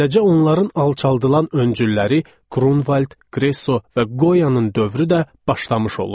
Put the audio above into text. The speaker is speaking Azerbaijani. Beləcə onların alçaldılan öncülləri Grunwald, Gresso və Goyanın dövrü də başlamış olurdu.